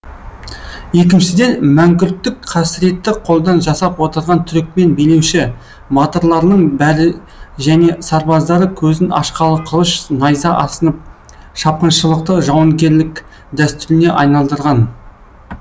екіншіден мәңгүрттік қасіретті қолдан жасап отырған түрікмен билеуші батырларының бәрі және сарбаздары көзін ашқалы қылыш найза асынып шапқыншылықты жауынгерлік дәстүріне айналдырған